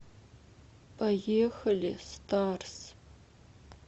поехали старс